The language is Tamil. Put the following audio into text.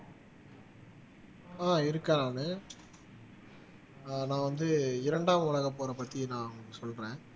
ஆஹ் இருக்கென் நானு ஆஹ் நான் வந்து இரண்டாம் உலகப்போரைப் பத்தி நான் சொல்றேன்